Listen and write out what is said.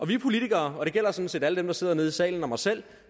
vi politikere og det gælder sådan set alle dem der sidder nede i salen og mig selv